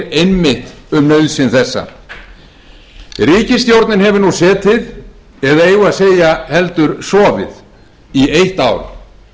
einmitt um nauðsyn þessa ríkisstjórnin hefur nú setið eða eigum við að segja heldur sofið í eitt ár